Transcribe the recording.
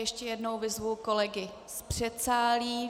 Ještě jednou vyzvu kolegy z předsálí.